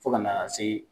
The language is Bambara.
Fo ka na se